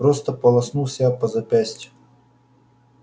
просто полоснул себя по запястью